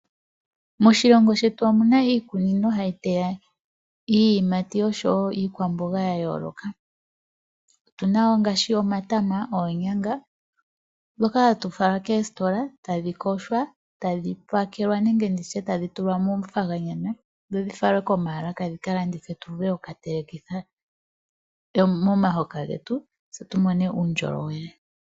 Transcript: Moshilongo shetu omu na iikunino hayi yeywa iiyimati osho wo iikwamboga ya yooloka. Otu na wo ngaashi omatama, oonyanga ndhoka hadhi fala koositola tadhi pakelwa nenge ndi tye tadhi falwa komaalaka dhi ka landithwe tu vule oku ka telekitha momahoka getu tse tu mone uundjolowele.